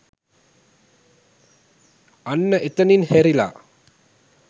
අන්න එතනින් හැරිලා